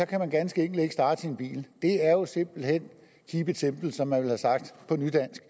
kan man ganske enkelt ikke starte sin bil det er jo simpelt hen keep it simple som man ville have sagt på nydansk